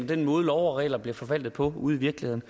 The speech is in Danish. den måde love og regler bliver forvaltet på ude i virkeligheden